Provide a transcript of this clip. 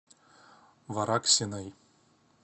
вараксиной